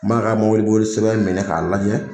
N b'a ka sɛbɛn minɛ k'a lajɛ.